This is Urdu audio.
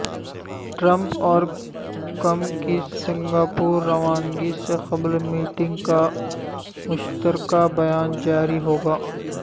ٹرمپ اور کم کی سنگاپور روانگی سے قبل میٹنگ کا مشترکہ بیان جاری ہوگا